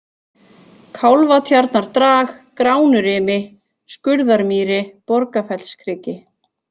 Kálfatjarnardrag, Gránurimi, Skurðarmýri, Borgarfellskriki